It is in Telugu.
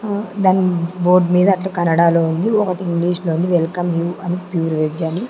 దాని బోర్డు మీద అట్లా కన్నడలో ఉంది ఒకటి ఇంగ్లీష్ లో ఉంది వెల్కమ్ యు అని ప్యూర్ వెజ్ అని.